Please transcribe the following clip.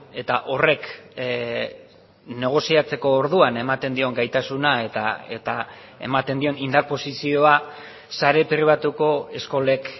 eta horrek negoziatzeko orduan ematen dion gaitasuna eta ematen dion indar posizioa sare pribatuko eskolek